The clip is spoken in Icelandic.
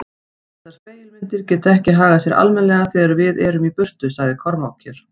Þessar spegilmyndir geta ekki hagað sér almennilega þegar við erum í burtu, sagði Kormákur.